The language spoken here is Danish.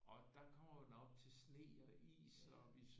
Og der kommer man op til sne og is og vi